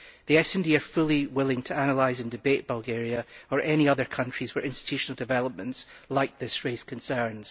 The SD are fully willing to analyse and hold debate on Bulgaria or any other country where institutional developments like this raise concerns.